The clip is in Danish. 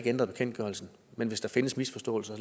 ændret bekendtgørelsen men hvis der findes misforståelser